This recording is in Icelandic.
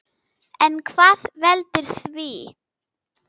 En hvað veldur því?